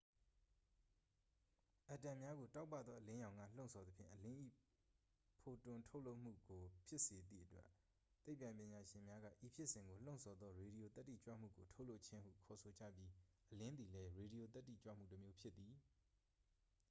"အက်တမ်များကို တောက်ပသော အလင်းရောင်က လှုံ့ဆော်သဖြင့် အလင်း၏ ဖိုတွန်ထုတ်လွှတ်မှုကို ဖြစ်စေသည့်အတွက် သိပ္ပံပညာရှင်များက ဤဖြစ်စဉ်ကို "လှုံ့ဆော်သော ရေဒီယိုသတ္တိကြွမှုကို ထုတ်လွှတ်ခြင်း" ဟု ခေါ်ဆိုကြပြီး အလင်းသည်လည်း ရေဒီယိုသတ္တိကြွမှုတစ်မျိုးဖြစ်သည်။